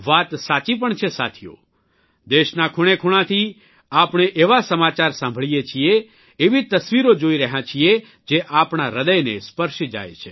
વાત સાચી પણ છે સાથીઓ દેશના ખૂણેખૂણાથી આપણે એવા સમાચાર સાંભળીએ છીએ એવી તસવીરો જોઇ રહ્યાં છીએ જે આપણા હૃદયને સ્પર્શી જાય છે